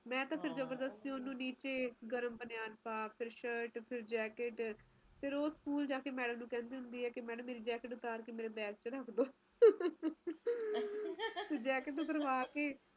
ਮੀਹ ਦਾ ਮੌਸਮ ਸੋਹਣਾ ਲੱਗਦਾ ਪਰ ਆਪਣੇ ਇਕੱਲੇ ਚ ਆਪਾ ਨੂੰ ਮੀਹ ਦਾ ਮੌਸਮ ਵੀ ਨੀ ਸੋਹਣਾ ਲੱਗਦਾ ਪਾਣੀ ਬਹੁਤ ਘਟਦਾ ਇੰਨੇ ਦਿੱਕਤ ਹੋ ਜਾਂਦੀ ਐ ਕੀ ਜੀਅ ਕਰਦਾ ਕੀ ਅਸੀ ਚਲਾਲੋ